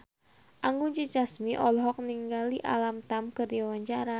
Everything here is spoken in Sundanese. Anggun C. Sasmi olohok ningali Alam Tam keur diwawancara